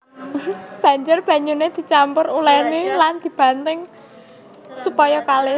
Banjur banyuné dicampur diulèni lan dibanting supaya kalis